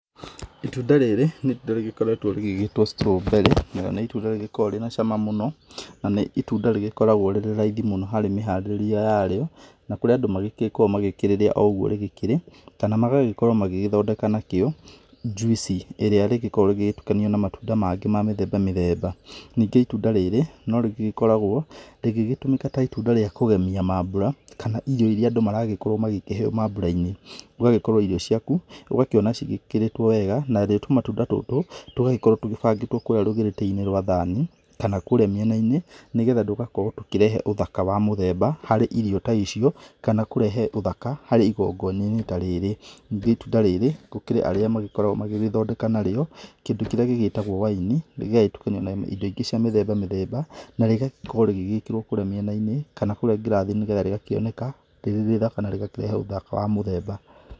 Ĩtunda rĩrĩ nĩ ĩtunda rĩgĩkoretwo rĩgĩgĩtwo strawberry na nĩ ĩtunda rĩgĩkoragwo na cama mũno, na nĩ ĩtunda rĩgĩkoragwo rĩrĩ raithi mũno harĩ mĩharĩrie yarĩo, na kũrĩ andũ magĩkoragwo magĩkĩrĩria ũguo rĩkĩrĩ, kana magagĩkorwo magĩgĩthondeka nakĩo njuici ĩria rĩgĩkoragwo rĩgĩtukanio na matunda mangĩ ma mĩthemba mĩthemba. Ningĩ ĩtunda rĩrĩ no rĩkoragwo rĩgĩgĩtũmĩka ta ĩtunda rĩa kũgemia maambũra kana irio ĩria andũ maragĩkirwo magĩkĩheyo maambũra-inĩ. Ũgagĩkorwo irio cĩaku ũgakĩona cigĩkĩrĩtwo wega, narĩo tũmatunda tũtũ tũgagĩkorwo tũgĩbangĩtwo kũrĩa rũgĩrĩtĩ-inĩ rwa thani kana kũrĩa mĩena-inĩ, nĩgetha tũgakorwo tũkĩrehe ũthaka wa mũthemba harĩ irio ta icio, kana kũrehe ũthaka harĩ ĩgongona-inĩ tarĩrĩ. Ningĩ ĩtunda rĩrĩ gũkĩrĩ arĩa magĩkoragwo magĩgĩthondeka narĩo kĩndũ kĩrĩa gĩgĩtagwo wine, gĩgagĩtukanio na ĩndo ingĩ cia mĩthemba mĩthemba na rĩgakorwo rĩgĩgĩkĩrwo kũrĩa mĩena-inĩ kana kũrĩa ngirathi-inĩ, rĩgakĩoneka rĩrĩ rĩthaka na rĩkarehe ũthaka wa mũthemba.